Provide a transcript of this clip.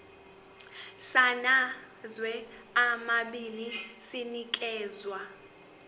samazwe amabili sinikezwa